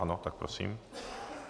Ano, tak prosím.